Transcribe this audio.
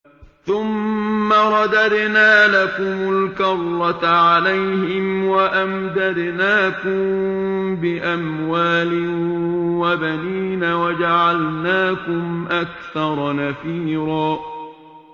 ثُمَّ رَدَدْنَا لَكُمُ الْكَرَّةَ عَلَيْهِمْ وَأَمْدَدْنَاكُم بِأَمْوَالٍ وَبَنِينَ وَجَعَلْنَاكُمْ أَكْثَرَ نَفِيرًا